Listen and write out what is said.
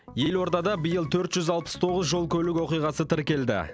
елордада биыл төрт жүз алпыс тоғыз жол көлік оқиғасы тіркелді